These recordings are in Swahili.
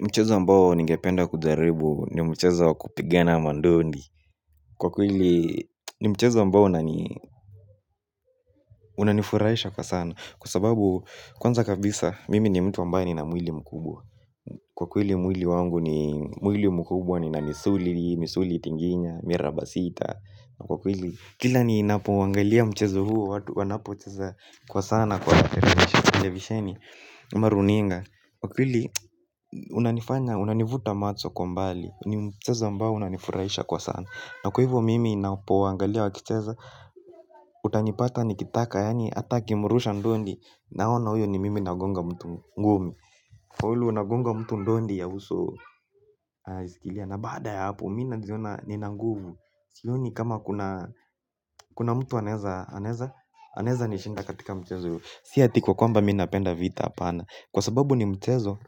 Mchezo ambao ningependa kujaribu, ni mchezo kupigena mandondi. Kwa kweli, ni mchezo ambao unani unanifuraisha kwa sana. Kwa sababu kwanza kabisa, mimi ni mtu ambaye nina mwili mkubwa. Kwa kweli, mwili wangu ni mwili mkubwa ni na nisuli, misuli tinginya, mirabasita. Na kwa kweli, kila ni napoangalia mchezo huo, watu wanapo cheza, kwa sana kwa Terevisheni Maruninga kwa kweli, unanifanya, unanivuta macho kwa mbali. Ni mchezo ambao una nifurahisha kwa sana. Na kwa hivyo mimi napoangalia wa kicheza. Utanipata ni kitaka, yaani atakimurusha ndondi. Naona uyo ni mimi nagonga mtu ngumi. Wawili wa nagonga mtu ndondi ya uso isikilia na baada ya hapo, mina jiona ni nanguvu. Sio ni kama kuna, kuna mtu anaeza, anaeza ni shinda katika mchezo uyu. Siati kwa kwamba mina penda vita apana. Kwa sababu ni mchezo,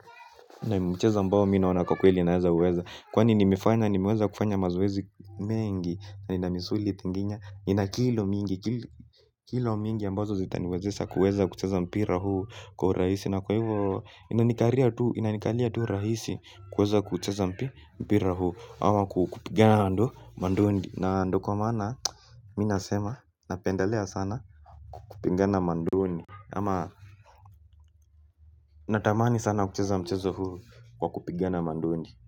na mchezo ambao mi naoana kwa kweli inaeza uweza. Kwani nimefanya, nimeweza kufanya mazoezi mengi, na inamisuli tinginya, inakilo mingi, kilo mingi ambazo zitaniwezesha kuweza kucheza mpira huu. Kwa uraisi, na kwa hivo, inanikalia tu rahisi, kuweza kucheza mpira huu. Ama kupigana ando mandondi. Na ndo kwa maana, minasema napendelea sana, kupigana mandondi. Ama natamani sana kucheza mchezo huu. Kwa kupigana mandondi.